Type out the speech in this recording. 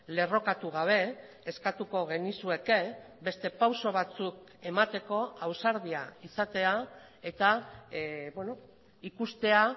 lerrokatu gabe eskatuko genizueke beste pauso batzuk emateko ausardia izatea eta ikustea